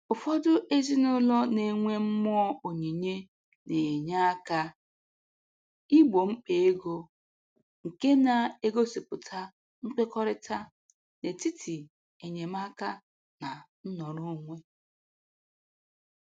Ụfọdụ ndị ezinụlọ na-enwe mmụọ onyinye na-enye aka igbo mkpa ego, nke na-egosipụta nkwekọrịta n'etiti enyemaka na nnọrọonwe